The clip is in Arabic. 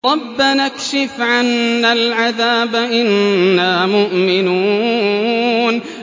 رَّبَّنَا اكْشِفْ عَنَّا الْعَذَابَ إِنَّا مُؤْمِنُونَ